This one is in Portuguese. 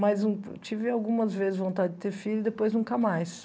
Mas um tive algumas vezes vontade de ter filho e depois nunca mais.